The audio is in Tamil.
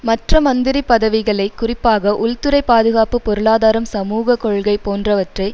மற்ற மந்திரி பதவிகளை குறிப்பாக உள்துறை பாதுகாப்பு பொருளாதாரம் சமூக கொள்கை போன்றவற்றை